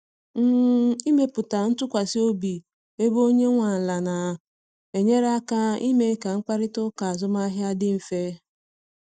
um Ịmepụta ntụkwasị obi ebe onye nwe ala na enyere aka ime ka mkparịta ụka azụmahịa dị mfe